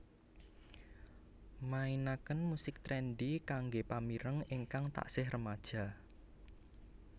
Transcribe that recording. mainaken musik trendy kanggé pamireng ingkang taksih remaja